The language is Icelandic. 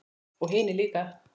Og hinir líka.